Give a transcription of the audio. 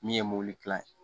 Min ye mobili kilan ye